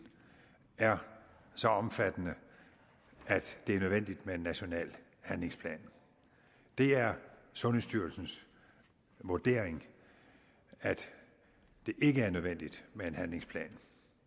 er så omfattende at det er nødvendigt med en national handlingsplan det er sundhedsstyrelsens vurdering at det ikke er nødvendigt med en handlingsplan